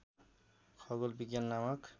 खगोल विज्ञान नामक